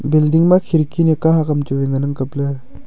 building ma khirki nyu kahak hamchu wai ngan ang kapley.